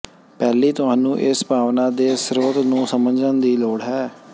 ਪਹਿਲੀ ਤੁਹਾਨੂੰ ਇਸ ਭਾਵਨਾ ਦੇ ਸਰੋਤ ਨੂੰ ਸਮਝਣ ਦੀ ਲੋੜ ਹੈ